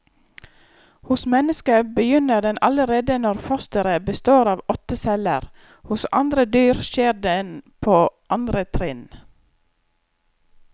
Hos mennesket begynner den allerede når fosteret består av åtte celler, hos andre dyr skjer den på andre trinn.